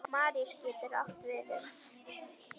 Maríus getur átt við um